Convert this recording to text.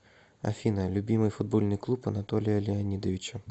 афина любимый футбольный клуб анатолия леонидовича